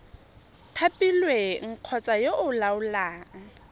thapilweng kgotsa yo o laolang